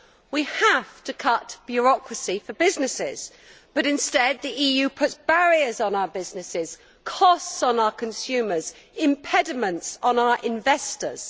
We have to cut bureaucracy for businesses, but instead the EU puts barriers on our businesses, costs on our consumers and impediments on our investors.